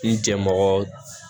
N jɛmɔgɔ